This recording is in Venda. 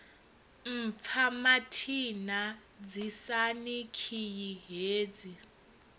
mpfa mathina ḓisani khiyi hedzi